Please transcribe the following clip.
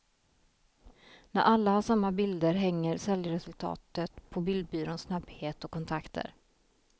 När alla har samma bilder hänger säljresultatet på bildbyråns snabbhet och kontakter.